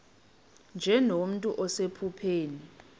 nje nomntu osephupheni